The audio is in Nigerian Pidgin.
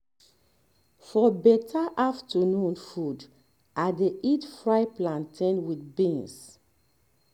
for better afternoon food i dey eat fried plantain with beans